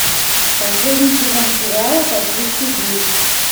последний сезон сериала токийский гуль